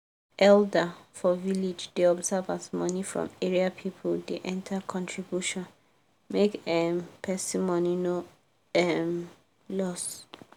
elder for village da observe as money from area people da enter contribution make um person money no um loss